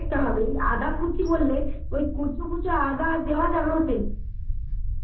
কুচি করলে ওই কুচু কুচু আদা দেয়া যাবে ওর মধ্যে